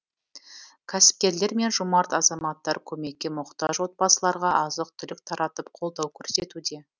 кәсіпкерлер мен жомарт азаматтар көмекке мұқтаж отбасыларға азық түлік таратып қолдау көрсетуде